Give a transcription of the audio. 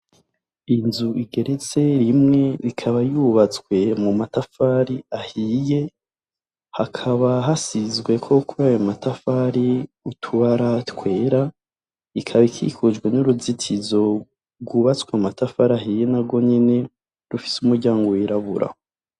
Inzu igeretse rimwe ikaba yubatswe mu matafari ahiye, hakaba hasizweko kuri ayo matafari utubara twera, ikaba ikikujwe n'uruzitizo rwubatswe mu matafari ahiye narwo nyene rufise umuryango wirabura.